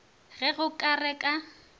ge go ka re ka